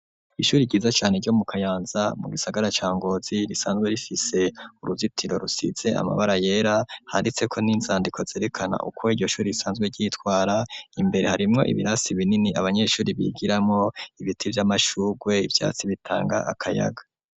Ishure ryiza cane ryo mu kayanza mu gisagara ca ngozi risanzwe rifise uruzitiro rusize amabara yera handitse ko n'inzandiko zerekana uko iryo shure risanzwe ryitwara imbere harimwo ibirasi binini abanyeshure bigiramwo ibiti vy'amashugwe ibyatsi bitanga akayaga.